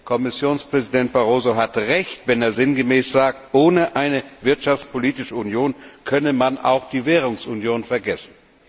Kommissionspräsident Barroso hat recht, wenn er sinngemäß sagt, ohne eine wirtschaftspolitische Union könne man auch die Währungsunion vergessen.